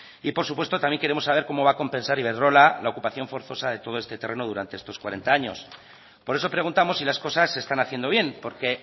y por supuesto también queremos saber cómo va a compensar iberdrola la ocupación forzosa de todo este terreno durante estos cuarenta años por eso preguntamos si las cosas se están haciendo bien porque